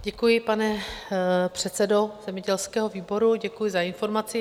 Děkuji, pane předsedo zemědělského výboru, děkuji za informaci.